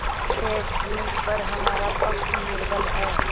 सेठ जीपर हमारा पक्ष निर्बल है